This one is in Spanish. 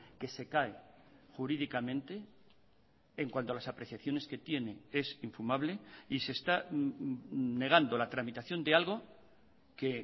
que se cae jurídicamente en cuanto a las apreciaciones que tiene es infumable y se está negando la tramitación de algo que